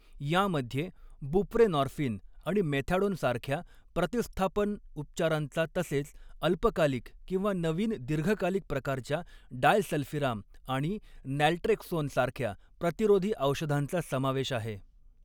यांमध्ये बुप्रेनॉर्फिन आणि मेथॅडोन सारख्या प्रतिस्थापन उपचारांचा तसेच अल्पकालिक किंवा नवीन दीर्घकालिक प्रकारच्या डायसल्फिराम आणि नॅलट्रेक्सोन सारख्या प्रतिरोधी औषधांचा समावेश आहे.